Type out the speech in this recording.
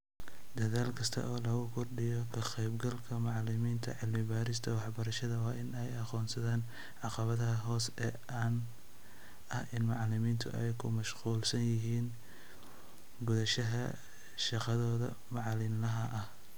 Dadaal kasta oo lagu kordhinayo ka-qaybgalka macallimiinta cilmi-baarista waxbarashada waa in ay aqoonsadaan caqabadaha hoose ee ah in macalimiintu ay ku mashquulsan yihiin gudashada shaqadooda maalinlaha ah.